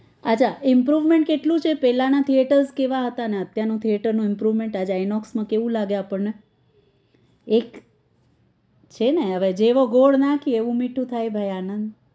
અચ્છા improvement કેટલું છે પેલાં નાં theatres કેવા હતા અને અત્યાર ના theatres નું improvement આજ in case માં કેવું લાગે આપણે એક છે ને જેવો ગોળ નાખે એવું મીઠુ થાય ભાઈ આનંદ